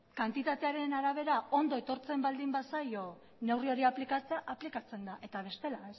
kantitatearen arabera ondo etortzen baldin bazaio neurri hori aplikatzea aplikatzen da eta bestela